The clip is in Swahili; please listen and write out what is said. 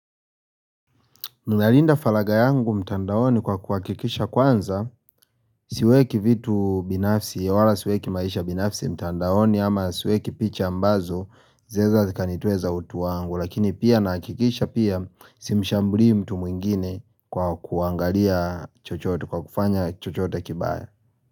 Ninarinda falaga yangu mtandaoni kwa kuhakikisha kwanza siweki vitu binafsi wala siweki maisha binafsi mtandaoni ama siweki picha ambazo zinaeza zikanitoeza utu wangu lakini pia nahakikisha pia simshambulii mtu mwingine kwa kuangalia chochote kwa kufanya chochote kibaya.